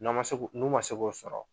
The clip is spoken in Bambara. N'a ma se, n'u ma se k'u k'o sɔrɔ